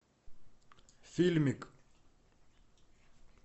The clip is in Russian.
фильмик